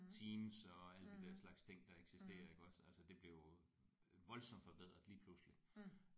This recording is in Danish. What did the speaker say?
Teams og alle de der slags ting der eksisterer iggås altså det blev jo voldsomt forbedret lige pludselig